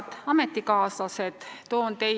Head ametikaaslased!